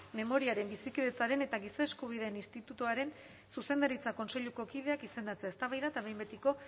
memoriaren bizikidetzaren eta giza eskubideen institutuaren zuzendaritza kontseiluko kideak izendatzea eztabaida eta behin betiko